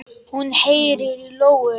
Hún heyrir í lóu.